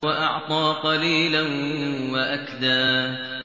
وَأَعْطَىٰ قَلِيلًا وَأَكْدَىٰ